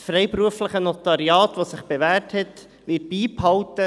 Das freiberufliche Notariat hat sich bewährt und wird beibehalten.